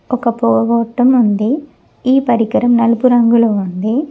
ఒక పోగొట్టం ఉంది ఈ పరికరం నలుపు రంగులో ఉంది.